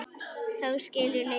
Þá skildu leiðir.